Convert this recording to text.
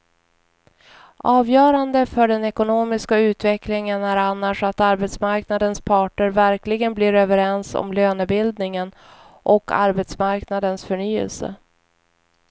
Avgörande för den ekonomiska utvecklingen är annars att arbetsmarknadens parter verkligen blir överens om lönebildningen och arbetsmarknadens förnyelse.